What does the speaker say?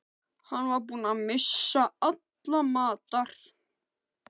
Hann var búinn að missa alla matar